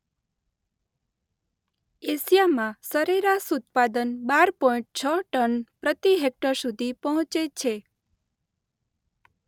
એશિયામાં સરેરાશ ઉત્પાદન બાર પોઈન્ટ છ ટન પ્રતિ હેક્ટર સુધી પહોંચે છે.